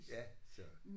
Ja så